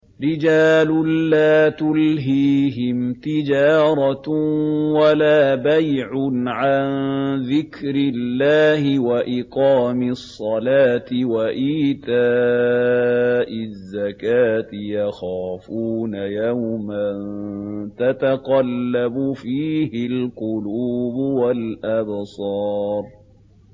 رِجَالٌ لَّا تُلْهِيهِمْ تِجَارَةٌ وَلَا بَيْعٌ عَن ذِكْرِ اللَّهِ وَإِقَامِ الصَّلَاةِ وَإِيتَاءِ الزَّكَاةِ ۙ يَخَافُونَ يَوْمًا تَتَقَلَّبُ فِيهِ الْقُلُوبُ وَالْأَبْصَارُ